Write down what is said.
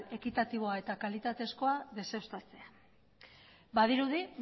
ekitatiboa eta kalitatezkoa deseustatzea badirudi